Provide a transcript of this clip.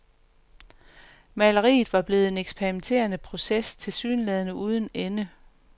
Maleriet var blevet en eksperimenterende proces tilsyneladende uden ende.